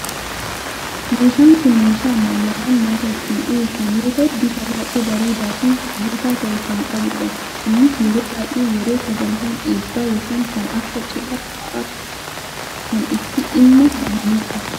Meeshaan kun, meeshaa ammayyaawaa nyaata ittiin dhiheessan yoo ta'u, bifa baayyee bareedaa fi hawwataa ta'e kan qabudha. Innis yeroo bayyee yeroo sagantaan eebbaa yookaan kan akka cidhaa fa'aa kan itti dhimma bahamudha.